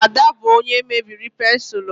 Ada bụ onye mebiri pensụl m